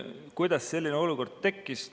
Kuidas selline olukord tekkis?